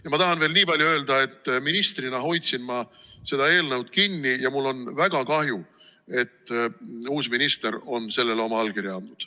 Ja ma tahan veel niipalju öelda, et ministrina hoidsin ma seda eelnõu kinni ja mul on väga kahju, et uus minister on sellele oma allkirja andnud.